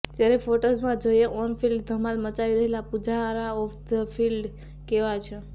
ત્યારે ફોટોઝમાં જોઈએ ઓન ફિલ્ડ ધમાલ મચાવી રહેલા પૂજારા ઓફ ધી ફિલ્ડ કેવા છે